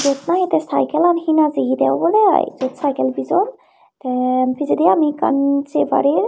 iyot nahi tei saikelan hina jiyedey obodey ai iyot saikel bijon tey pijedi ami ekkan sei parir.